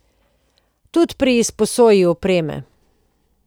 Tudi pri izposoji opreme.